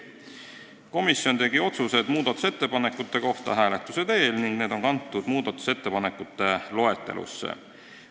Komisjon tegi otsused muudatusettepanekute kohta hääletuse teel ning need otsused on kantud muudatusettepanekute loetelusse.